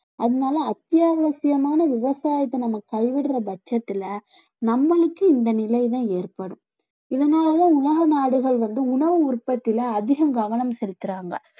அதனால அத்தியாவசியமான விவசாயத்தை நம்ம கைவிடுற பட்சத்துல நம்மளுக்கு இந்த நிலைதான் ஏற்படும் இதனால தான் உலக நாடுகள் வந்து உணவு உற்பத்தில அதிகம் கவனம் செலுத்துறாங்க